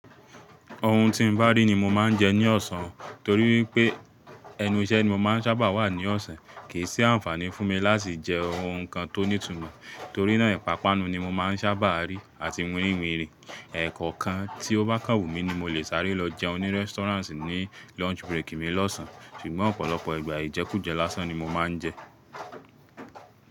Ohun tí n bá rí ní mo máa n jẹ ní ọ̀sán torí wípé, ẹnu iṣẹ́ ni mo maá n sábà wà ní ọ̀sán. Kìí sí àǹfàní fún mi láti jẹ ohun kan tó ní tumo, torí náà ìpápánu ni mo má n sábà rí àti wírìwinrin. Ẹ̀ẹ̀kọ̀kan tí ó bá kàn wumí ní mo le sáré lọ jẹun ní restaurant ní lunch break mi lọ́sàn. Ṣugbọn ọ̀pọ̀lọpọ̀ ìgbà ìjẹkújẹ lásán ni mo máa n jẹ.